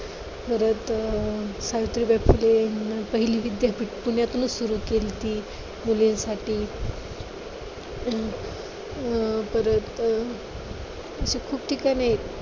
परत सावित्रीबाई फुले पहिली विद्यापीठ पुण्यातूनच सुरू केलती. मुलेंसाठी अं परत अशी खूप ठिकाणे आहेत.